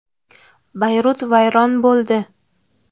Bayrut vayron bo‘ldi.